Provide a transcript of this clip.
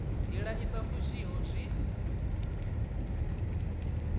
ndila i sa fushiho zwi